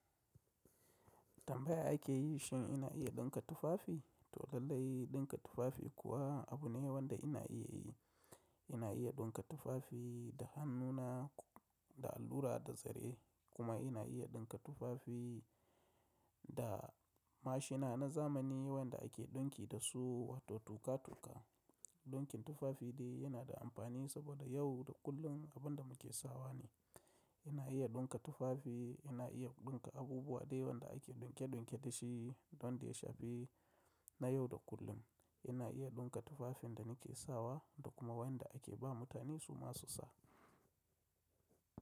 Tambaya ake yi shin ina iya ɗinka tufafi? To lallai ɗinka tufafi kuwa abu ne wanda ina iya yi. Ina iya ɗinka tufafi da hannuna da allura da zare kuma ina iya ɗinka tufafi da mashina na zamani wanda ake ɗinki dasu wato tuka-tuka. Ɗinkin tufafi dai yana da amfani saboda yau da kullum abin da muke sawa ne. Ina iya ɗinka tufafi, ina iya ɗinka abubuwa dai wanda ake ɗunke-ɗunke dashi wanda ya shafi na yau da kullum. Ina iya ɗinka tufafin da nake sawa da kuma wanda ake ba mutane suma su sa.